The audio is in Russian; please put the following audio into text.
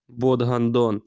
вот гандон